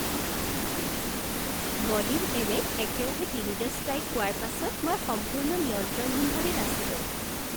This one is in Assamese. বলিং এলে'ত একেৰাহে তিনিটা ষ্ট্ৰাইক পোৱাৰ পাছত মই সম্পূৰ্ণ নিয়ন্ত্ৰণহীনভাৱে নাচিলোঁ।